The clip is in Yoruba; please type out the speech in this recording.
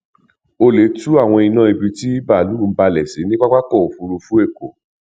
olè tú àwọn iná ibi tí báàlú ń balẹ sí ní pápákọ òfurufú èkó